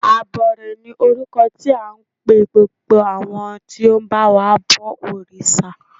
Abọrẹ̀ ni orúkọ tí à ń pe gbogbo àwọn tí ó ń ba wa bọ òrìṣà.